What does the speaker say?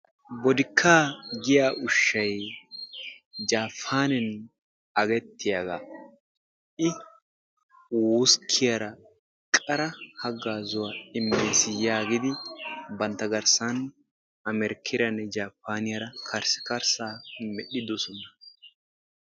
Bodikkaa yaagettiyaa ushshay jaapaannen agettiyaagaa. i wuskkiyaara qara haggaazuwaa immees yaagidi bantta garssaan amerkeeranne jaapaneera karssikarissaa medhidoosona.